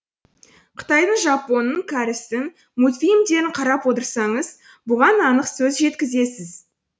қытайдың жапонның кәрістің мультфильмдерін қарап отырсаңыз бұған анық көз жеткізесіз